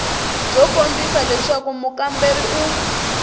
byo kombisa leswaku mukamberiwa u